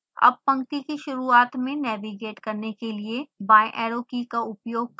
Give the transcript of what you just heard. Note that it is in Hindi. अब पंक्ति की शुरुआत में नेविगेट करने के लिए बाएंऐरो की का उपयोग करें